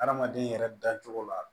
Adamaden yɛrɛ dacogo la